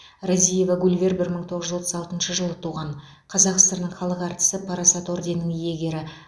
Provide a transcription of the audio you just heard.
разиева гульвер бір мың тоғыз жүз отыз алтыншы жылы туған қазақ сср інің халық әртісі парасат орденінің иегері